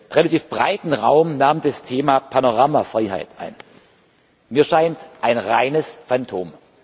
Ziel. Relativ breiten Raum nahm das Thema Panoramafreiheit ein mir scheint, ein reines Phantom.